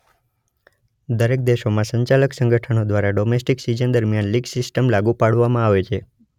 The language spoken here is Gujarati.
દરેક દેશોમાં સંચાલક સંગઠનો દ્વારા ડોમેસ્ટિક સિઝન દરમિયાન લીગ સિસ્ટમ લાગુ પાડવામાં આવે છે